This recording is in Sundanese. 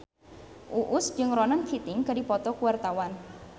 Uus jeung Ronan Keating keur dipoto ku wartawan